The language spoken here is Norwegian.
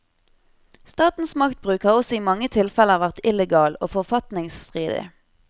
Statens maktbruk har også i mange tilfeller vært illegal og forfatningsstridig.